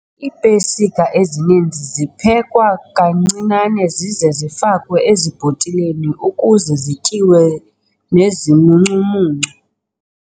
Iipesika ezininzi ziphekwa kancinane zize zifakwe ezibhotileni ukuze zityiwe nezimuncumuncu.